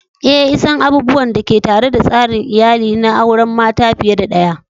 Eh,l san abubuwan da ke tare da tsarin iyali na auren mata fiye da daya.